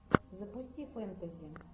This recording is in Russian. запусти фэнтези